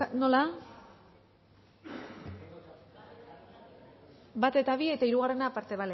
nola bat eta bi eta hirugarrena aparte